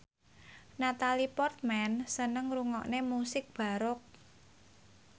Natalie Portman seneng ngrungokne musik baroque